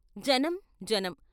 జనం జనం!